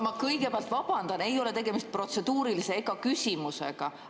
Ma kõigepealt vabandan, et ei ole tegemist protseduurilisega ega küsimusega.